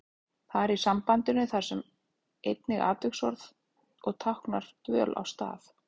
Þar í sambandinu þar sem er einnig atviksorð og táknar dvöl á stað.